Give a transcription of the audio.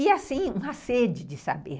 E assim, uma sede de saber.